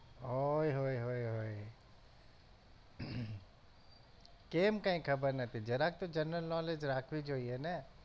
ઓય હોય હોય હોય કેમ કઈ ખબર નથી જરાક તો general knowledge રાખવી જોઈએ ને